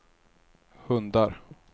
hundar